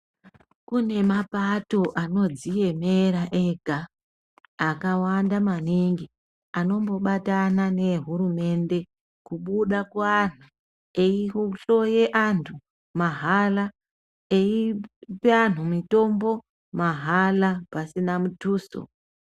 Kune mapato anodziemera ega akawanda maningi anombobatana neehurumende kubuda kuantu eyihloye antu mahara eyipa antu mitombo mahara pasina mutuso.